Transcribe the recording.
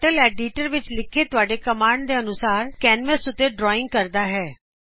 turtle editor ਵਿੱਚ ਲਿਖੇ ਤੁਹਾਡੇ ਕੋਮਾੰਡ ਦੇ ਅਨੁਸਾਰ ਕੈਨਵਸ ਉਤੇ ਡਰਾ ਕਰਦਾ ਹੈ